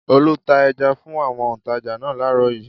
Olú ta ẹja fún àwọn òǹtajà náà láàárọ̀ yìí.